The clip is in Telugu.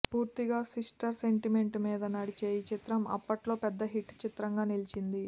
పూర్తిగా సిస్టర్ సెంటిమెంట్ మీద నడిచే ఈ చిత్రం అప్పట్లో పెద్ద హిట్ చిత్రంగా నిలిచింది